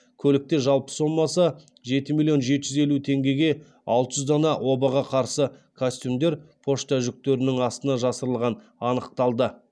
көлікте жалпы сомасы жеті миллион жеті жүз елу теңгеге алты жүз дана обаға қарсы костюмдер пошта жүктерінің астына жасырылған анықталды